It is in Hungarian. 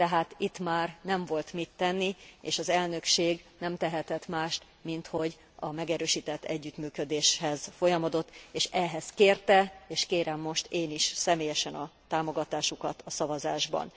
Tehát itt már nem volt mit tenni, és az elnökség nem tehetett mást, minthogy a megerősített együttműködéshez folyamodott, és ehhez kérte, és kérem most én is személyesen a támogatásukat a szavazásban.